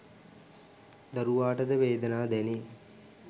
දරුවාට ද වේදනා දැනේ.